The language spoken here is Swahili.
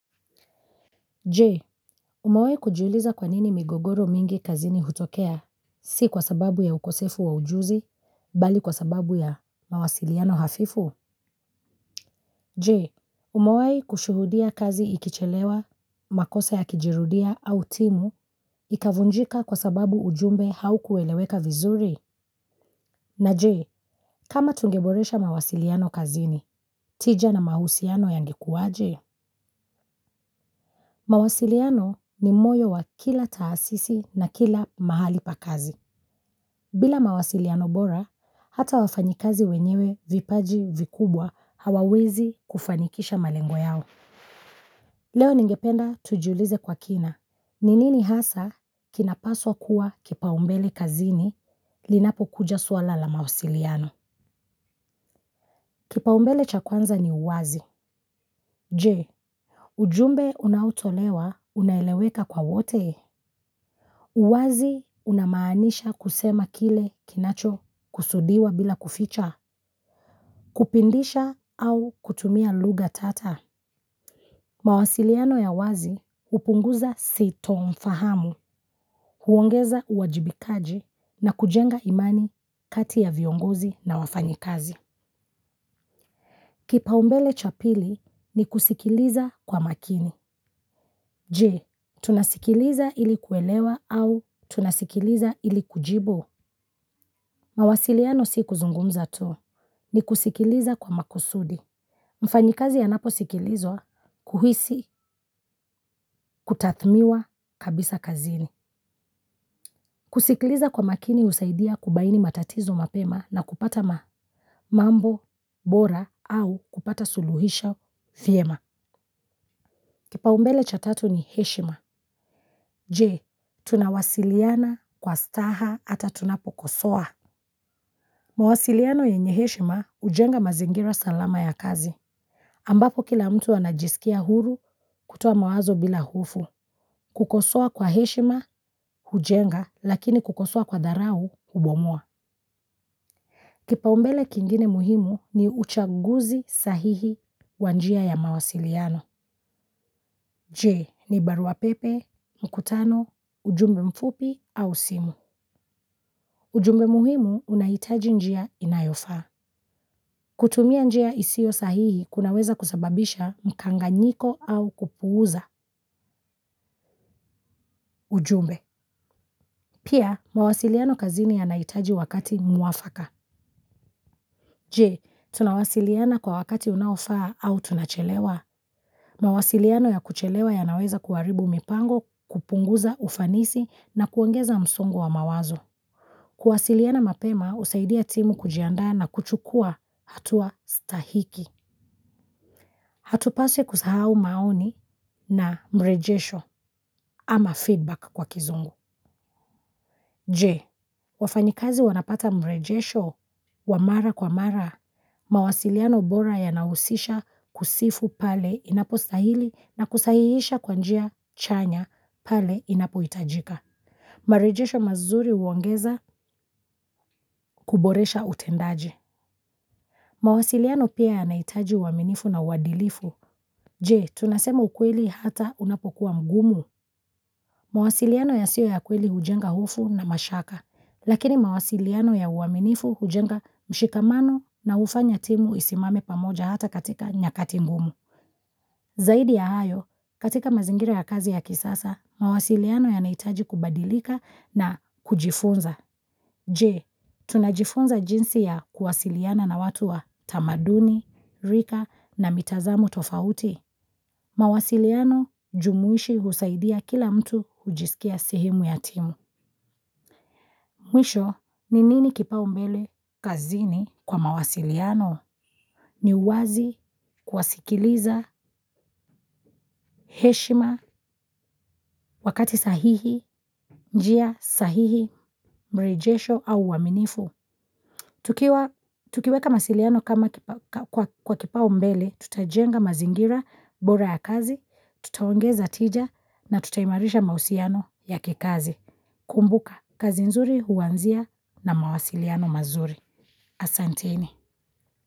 Je, umewahi kujuliza kwa nini migogoro mingi kazini hutokea, si kwa sababu ya ukosefu wa ujuzi, bali kwa sababu ya mawasiliano hafifu? Je, umewahi kushuhudia kazi ikichelewa, makosa yakijirudia au timu, ikavunjika kwa sababu ujumbe haukueleweka vizuri? Na je, kama tungeboresha mawasiliano kazini, tija na mahusiano yangekuwa, je? Mawasiliano ni moyo wa kila taasisi na kila mahali pa kazi. Bila mawasiliano bora, hata wafanyikazi wenyewe vipaji vikubwa hawawezi kufanikisha malengo yao. Leo ningependa tujiulize kwa kina. Ni nini hasaa kinapaswa kuwa kipaumbele kazini linapokuja swala ya mawasiliano. Kipaumbele cha kwanza ni uwazi. Je ujumbe unaotolewa unaeleweka kwa wote? Uwazi unamaanisha kusema kile kinacho kusudiwa bila kuficha, kupindisha au kutumia lugha tata. Mawasiliano ya wazi hupunguza sitomfahamu, huongeza uwajibikaji na kujenga imani kati ya viongozi na wafanyikazi. Kipaumbele cha pili ni kusikiliza kwa makini. Je, tunasikiliza ili kuelewa au tunasikiliza ili kujibu. Mawasiliano si kuzungumza tu ni kusikiliza kwa makusudi. Mfanyikazi anapo sikilizwa, kuhisi, kutathmiwa, kabisa kazini. Kusikiliza kwa makini husaidia kubaini matatizo mapema na kupata mambo bora au kupata suluhisho vyema kipaumbele cha tatu ni heshima. Je, tunawasiliana kwa staha ata tunapokosoa. Mawasiliano yenye heshima hujenga mazingira salama ya kazi. Ambapo kila mtu anajisikia huru kutoa mawazo bila hofu. Kukosoa kwa heshima hujenga lakini kukosoa kwa dharau hubomoa. Kipaumbele kingine muhimu ni uchaguzi sahihi wa njia ya mawasiliano. Je, ni barua pepe, mkutano, ujumbe mfupi au simu. Ujumbe muhimu unahitaji njia inayofaa. Kutumia njia isiyo sahihi kunaweza kusababisha mkanganyiko au kupuuza ujumbe. Pia, mawasiliano kazini yanahitaji wakati mwafaka. Je tunawasiliana kwa wakati unaofaa au tunachelewa. Mawasiliano ya kuchelewa yanaweza kuharibu mipango kupunguza ufanisi na kuongeza msongo wa mawazo. Kuwasiliano mapema husaidia timu kujianda na kuchukua hatua stahiki. Hatupaswi ekusahau maoni na mrejesho ama feedback kwa kizungu. Je, wafanyikazi wanapata mrejesho wa mara kwa mara. Mawasiliano bora yanahusisha kusifu pale inapostahili na kusahihisha kwa njia chanya pale inapohitajika. Marejesho mazuri huongeza kuboresha utendaji. Mawasiliano pia yanahitaji uaminifu na uadilifu. Je, tunasema ukweli hata unapokuwa mgumu. Mawasiliano yasiyo ya kweli hujenga hofu na mashaka, lakini mawasiliano ya uaminifu hujenga mshikamano na hufanya timu isimame pamoja hata katika nyakati ngumu. Zaidi ya hayo, katika mazingira ya kazi ya kisasa, mawasiliano yanahitaji kubadilika na kujifunza. Je, tunajifunza jinsi ya kuwasiliana na watu wa tamaduni, rika na mitazamo tofauti. Mawasiliano jumuishi husaidia kila mtu hujisikia sehemu ya timu. Mwisho, ni nini kipaumbele kazini kwa mawasiliano? Ni wazi, kuwasikiliza, heshima, wakati sahihi, njia sahihi, mrejesho au uaminifu. Tukiweka masiliano kama kwa kipaumbele, tutajenga mazingira, bora ya kazi, tutaongeza tija na tutaimarisha mahusiano ya kikazi. Kumbuka, kazi nzuri huanzia na mawasiliano mazuri. Asanteni.